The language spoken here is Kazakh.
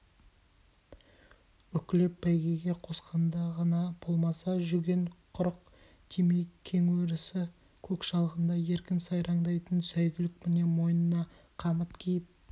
үклеп бәйгеге қосқанда ғана болмаса жүген-құрық тимей кең өрісі көк шалғында еркін сайраңдайтын сәйгүлік міне мойнына қамыт киіп